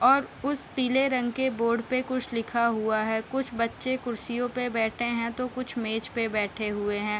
और उस पीले रंग के बोर्ड पे कुछ लिखा हुआ है कुछ बच्चें कुर्सियों पे बैठे हैं तो कुछ मेज़ पे बैठे हुए है।